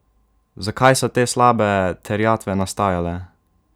Zakaj so te slabe terjatve nastajale?